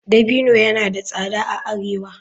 Dabino yana da tsada a arewa.